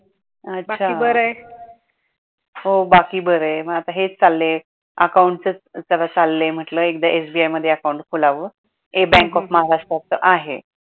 अच्छा हो बाकी बर आहे मग आता हेच चाललय account च जरा चाललय म्हटल एकदा SBI मध्ये account खोलाव एक bank of महाराष्ट्र च आहे.